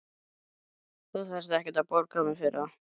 Þú þarft ekkert að borga mér fyrir það.